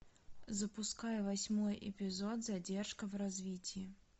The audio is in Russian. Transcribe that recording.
запускай восьмой эпизод задержка в развитии